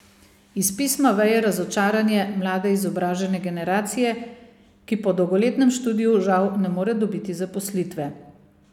Iz pisma veje razočaranje mlade izobražene generacije, ki po dolgoletnem študiju žal ne more dobiti zaposlitve.